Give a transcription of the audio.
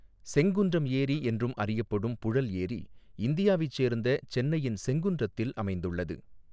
செங்குன்றம் ஏரி என்றும் அறியப்படும் புழல் ஏரி இந்தியாவைச் சேர்ந்த சென்னையின் செங்குன்றத்தில் அமைந்துள்ளது.